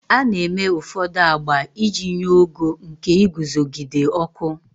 A na-eme ụfọdụ agba iji nye ogo nke iguzogide ọkụ.